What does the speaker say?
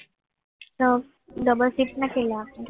તો double shift ના કેટલા આપ્યા